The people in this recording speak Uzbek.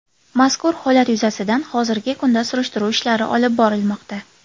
Mazkur holat yuzasidan hozirgi kunda surishtiruv ishlari olib borilmoqda.